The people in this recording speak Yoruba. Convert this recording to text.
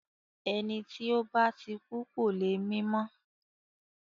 Ẹni tí ó bá ti kú kò le mí mọ́.